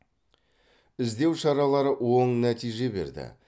іздеу шаралары оң нәтиже берді